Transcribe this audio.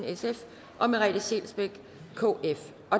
og merete scheelsbeck